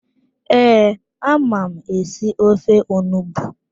Ee, ama m esi ofe onugbu